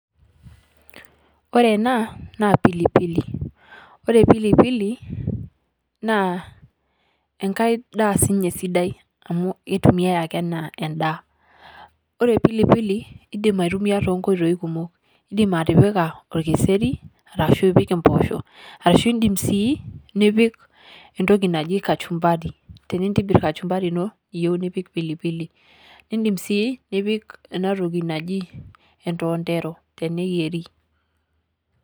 Ore ena naa pilipill ore pilipili na enkaai ndaa sii ninye sidai amu iitumia ake enaa endaa. Ore pilipili iddim aitumia to nkotoii kumook, idiim atipika olkiseri arashu ipiik mbooshoo, arashu idiim sii nipiik entokii najii kachumbari tinitibiiir kachumbari eiyeu nipiik pilipili. Niidiim sii nipiik ena ntooki najii entontero teneyieri.